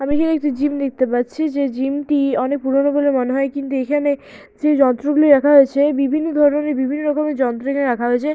আমি এখানে একটি জিম দেখতে পাচ্ছি। যে জিম টি অনেক পুরনো বলে মনে হয়। কিন্তু এখানে যেই যন্ত্র গুলি রাখা হয়েছে বিভিন্ন ধরনের বিভিন্ন রকমের যন্ত্র এখানে রাখা হয়েছে।